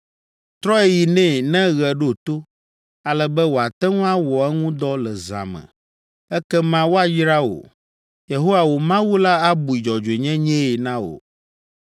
Trɔe yi nɛ ne ɣe ɖo to, ale be wòate ŋu awɔ eŋu dɔ le zã me, ekema woayra wò. Yehowa, wò Mawu la abui dzɔdzɔenyenyee na wò.